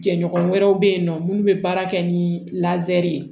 Jɛɲɔgɔn wɛrɛw bɛ yen nɔ minnu bɛ baara kɛ ni ye